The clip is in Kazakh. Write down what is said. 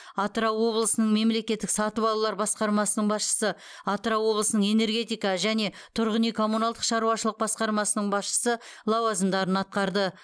атырау облысының мемлекеттік сатып алулар басқармасының басшысы атырау облысының энергетика және тұрғын үй коммуналдық шаруашылық басқармасының басшысы лауазымдарын атқарды